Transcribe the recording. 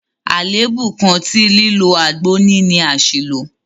Àlèébú kan tí lílo àgbo ní ni àṣìlò.